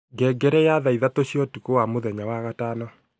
ngengere ya thaa ithatũ cia utuku wa mũthenya wa gatano